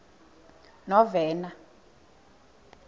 novena